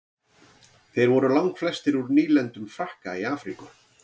þeir voru langflestir úr nýlendum frakka í afríku